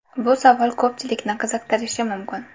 Bu savol ko‘pchilikni qiziqtirishi mumkin.